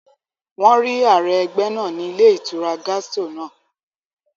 Wọ́n rí ààrẹ ẹgbẹ́ náà ní ilé ìtura Gastro náà